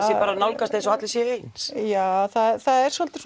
sé bara nálgast eins og allir séu eins já það er svolítil